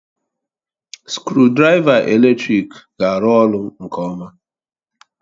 Skrụdiraiva eletrik ga-arụ ọrụ nke ọma